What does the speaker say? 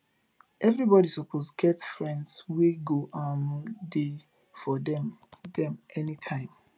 everybodi suppose get friends wey go um dey for dem dem anytime